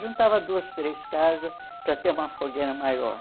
Juntava duas, três casas para ter uma fogueira maior.